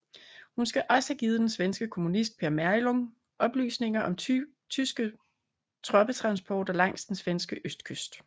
Hun skal også have givet den svenske kommunist Per Meurling oplysninger om tyske troppetransporter langs den svenske østkyst